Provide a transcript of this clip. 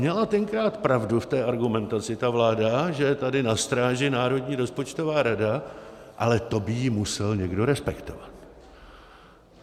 Měla tenkrát pravdu v té argumentaci ta vláda, že je tady na stráži Národní rozpočtová rada, ale to by ji musel někdo respektovat.